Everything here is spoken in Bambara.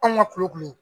Anw ka kulo kɔnɔ